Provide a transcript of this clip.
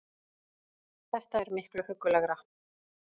Þetta er miklu huggulegra